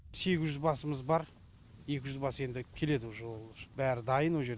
сегіз жүз басымыз бар екі жүз бас енді келеді уже ол уже бәрі дайын о жерде